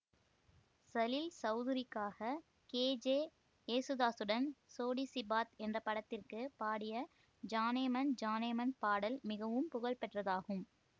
சலில் சௌதுரிக்காக கேஜே ஏசுதாசுடன் சோடி சி பாத் என்ற படத்திற்கு பாடிய ஜானேமன் ஜானேமன் பாடல் மிகவும் புகழ்பெற்றதாகும்